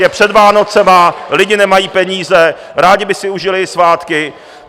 Je před Vánocemi, lidi nemají peníze, rádi by si užili svátky.